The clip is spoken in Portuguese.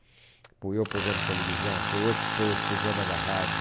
Apoiou o programa de televisão, apoiou o por programa da rádio.